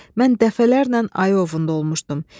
Mən dəfələrlə ayı ovunda olmuşdum.